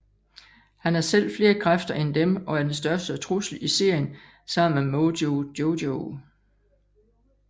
Han har selv flere kræfter end dem og er den største trussel i serien sammen med Mojo Jojo